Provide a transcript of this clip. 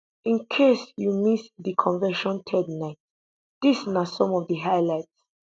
in case you miss di convention third night dis na some of di highlights